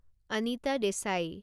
Anita Desai